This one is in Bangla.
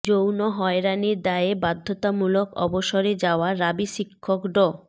যৌন হয়রানির দায়ে বাধ্যতামূলক অবসরে যাওয়া রাবি শিক্ষক ড